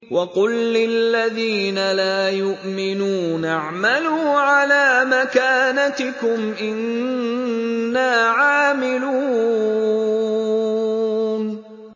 وَقُل لِّلَّذِينَ لَا يُؤْمِنُونَ اعْمَلُوا عَلَىٰ مَكَانَتِكُمْ إِنَّا عَامِلُونَ